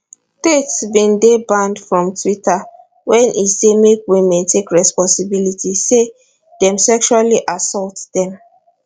tate bin dey banned from twitter wen e say make women take responsibility say dem sexually assault dem